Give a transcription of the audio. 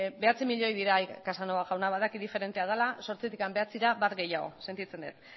bederatzi milioi dira casanova jauna badakit diferentea dela zortzitik bederatzira bat gehiago sentitzen dut